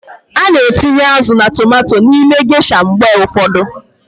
A na-etinye azụ na tomanto n'ime gesha mgbe ụfọdụ.